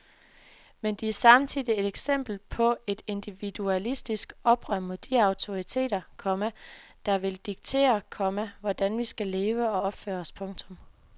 Men de er samtidig et eksempel på et individualistisk oprør mod de autoriteter, komma der vil diktere, komma hvordan vi skal leve og opføre os. punktum